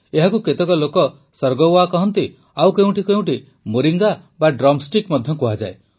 ଏହାକୁ କେତେକ ଲୋକ ସର୍ଗୱା କହନ୍ତି ତ ଆଉ କେଉଁ କେଉଁଠି ମୋରିଙ୍ଗା ବା ଡ୍ରମ୍ ଷ୍ଟିକ୍ ମଧ୍ୟ କୁହାଯାଏ